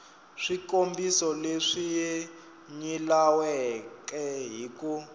swikombiso leswi nyilaweke hi ku